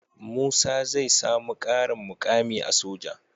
Musa zai samu karin mukami a soja